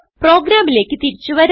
പ്രോഗ്രാമിലേക്ക് തിരിച്ചു വരാം